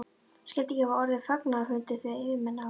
Skyldi ekki hafa orðið fagnaðarfundur, þegar yfirmenn á